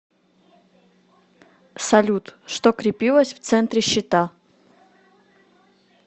салют что крепилось в центре щита